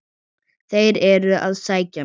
Þeir eru að sækja mig.